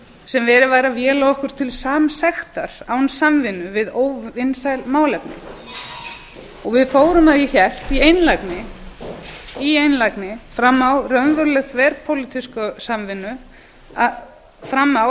sem verið væri að véla okkur til samsektar án samvinnu við óvinsæl málefni við fórum að því er ég hélt í einlægni fram á